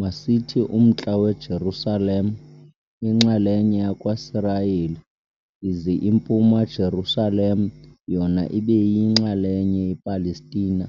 masithi Umntla-weJerusalem inxalenye yakwaSirayeli ize impuma Jerusalem yona ibe yinxalenye ye Palestina.